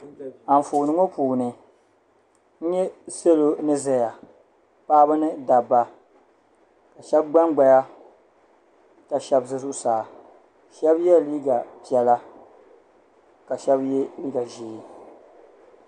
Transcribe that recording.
Anfooni ŋɔ puuni n-nyɛ salo ni zaya paɣiba ni dabba ka shɛba gbangbaya ka shɛba ʒe zuɣusaa shɛba yela liiga piɛla ka shɛba ye liiga ʒee.